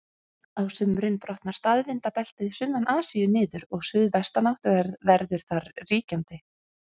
Á sumrin brotnar staðvindabeltið sunnan Asíu niður og suðvestanátt verður þar ríkjandi.